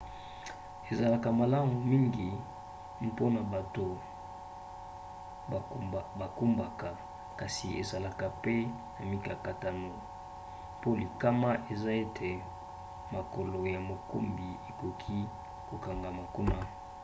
ezalaka malamu mingi mpona bato bakumbaka kasi ezalaka pe na mikakatano po likama eza ete makolo ya mokumbi ekoki kokangama kuna